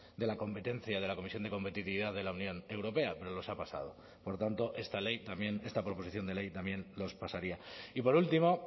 de la competencia de la comisión de competitividad de la unión europea pero los ha pasado por tanto esta ley también esta proposición de ley también los pasaría y por último